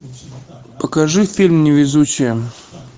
покажи фильм невезучие